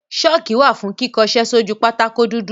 ṣọ́kì wà fún kíkọṣẹ́ sójú pátákó dúdú.